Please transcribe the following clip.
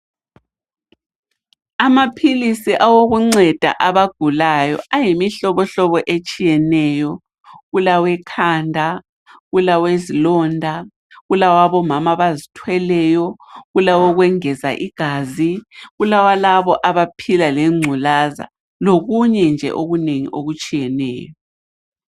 Amaphilisi awokunceda abagulayo ayimihlobohlobo etshiyeneyo. Kulawekhanda, kulawezilonda, kulawabomama abazithweleyo, kulawokwengeza igazi, kulawalabo abaphila lengculaza, lokunye nje okunengi okutshiyeneyo.